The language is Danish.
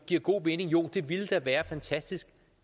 giver god mening jo det ville da være fantastisk